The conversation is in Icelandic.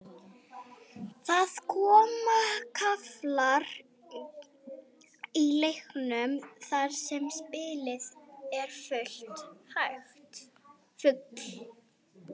Það koma kaflar í leikjum þar sem spilið er full hægt.